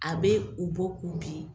A be u bɔ k'u bin